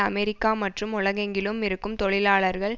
America மற்றும் உலகெங்கிலும் இருக்கும் தொழிலாளர்கள்